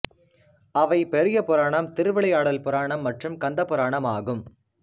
அவை பெரியபுராணம் திருவிளையாடல் புராணம் மற்றும் கந்த புராணம் ஆகும்